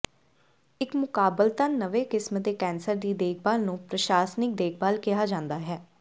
ਇੱਕ ਮੁਕਾਬਲਤਨ ਨਵੇਂ ਕਿਸਮ ਦੇ ਕੈਂਸਰ ਦੀ ਦੇਖਭਾਲ ਨੂੰ ਪ੍ਰਸ਼ਾਸਨਿਕ ਦੇਖਭਾਲ ਕਿਹਾ ਜਾਂਦਾ ਹੈ